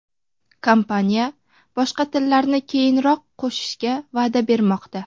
Kompaniya boshqa tillarni keyinroq qo‘shishga va’da bermoqda.